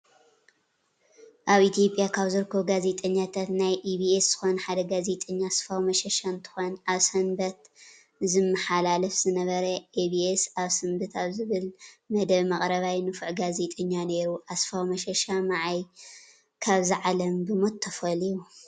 አብ ኢትዮጲያ ካብ ዝርከቡ ጋዜጠኛታት ናይ ኢቢኤስ ዝኮነ ሓደ ጋዜጠኛ አስፋው መሸሻ እንትኮን አብ ሰንበት ዝምሓላለፍ ዝንበረ ኢቤኤስ አብ ስንበት አብ ዝብል መደብ መቅረባይ ንፉዕ ጋዜጠኛ ነይሩ። አስፋው መሸሻ መዓይ ካብዛ ዓለም ብሞት ተፈሊዩ?